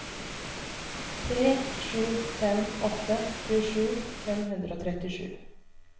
tre sju fem åtte tjuesju fem hundre og trettisju